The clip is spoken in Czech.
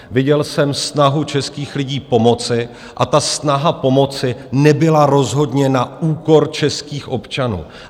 Viděl jsem snahu českých lidí pomoci a ta snaha pomoci nebyla rozhodně na úkor českých občanů.